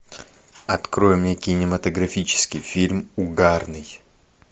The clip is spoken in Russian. открой мне кинематографический фильм угарный